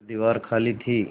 पर दीवार खाली थी